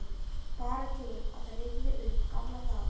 Bara til að rifja upp gamla daga.